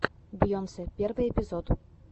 бейонсе первый эпизод